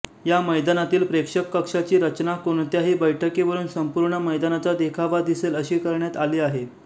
या मैदानातील प्रेक्षककक्षाची रचना कोणत्याही बैठकीवरुन संपूर्ण मैदानाचा देखावा दिसेल अशी करण्यात आली आहे